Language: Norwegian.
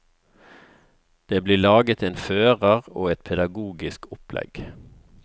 Det blir laget en fører og et pedagogisk opplegg.